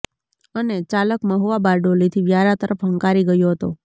અને ચાલક મહુવા બારડોલીથી વ્યારા તરફ હંકારી ગયો હતો